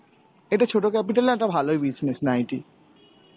এটা ছোট capital এ একটা ভালোই business নাইটি.